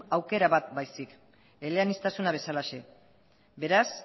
aukera bat baizik eleaniztasuna bezalaxe beraz